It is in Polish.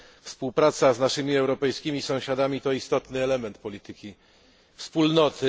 Współpraca z naszymi europejskimi sąsiadami to istotny element polityki Wspólnoty.